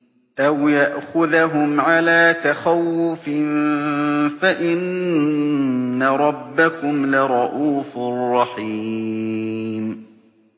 أَوْ يَأْخُذَهُمْ عَلَىٰ تَخَوُّفٍ فَإِنَّ رَبَّكُمْ لَرَءُوفٌ رَّحِيمٌ